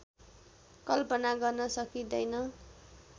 कल्पना गर्नै सकिँदैन